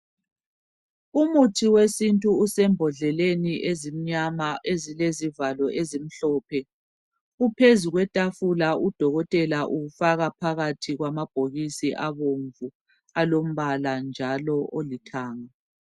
Umuthi wesintu usembodleleni ezimnyama ezilezivalo ezimhlophe. Uphezu kwetafula udokotela uwufaka phakathi kwamabhokisi abomvu alombala njalo olithanga .